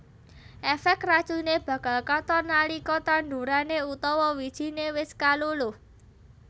Efek racune bakal katon nalika tandurane utawa wijine wis kaluluh